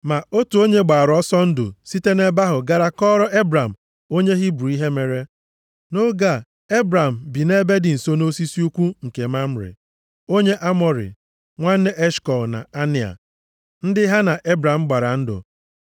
Ma otu onye gbara ọsọ ndụ site nʼebe ahụ gara kọọrọ Ebram onye Hibru ihe mere. Nʼoge a, Ebram bi nʼebe dị nso nʼosisi ukwu nke Mamre, onye Amọrị, nwanne Eshkọl na Anea, ndị ha na Ebram gbara ndụ.